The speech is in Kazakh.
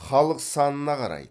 халық санына қарайды